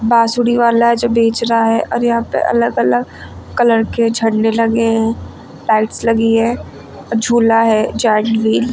बांसुरी वाला जो बेच रहा है और यहां पे अलग अलग कलर के झंडे लगे हैं टाइल्स लगी है और झूला है जाली--